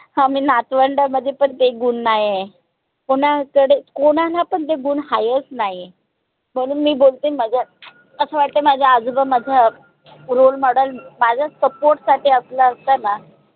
आम्ही नातवंडामध्ये पन ते गुन नाय आय कोना कडेच कोनाना पन ते गुन हायेच नाई म्हनून मी बोलते न असं वाट्टे माझा आजोबा माझं role model माझ्या support साठी असला असता ना